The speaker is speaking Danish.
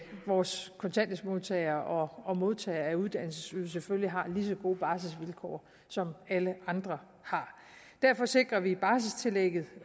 vores kontanthjælpsmodtagere og modtagere af uddannelsesydelse selvfølgelig har lige så gode barselsvilkår som alle andre har derfor sikrer vi et barselstillæg